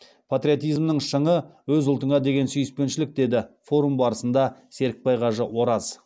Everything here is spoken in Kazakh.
патриотизмнің шыңы өз ұлтыңа деген сүйіспеншілік деді форум барысында серікбай кажы ораз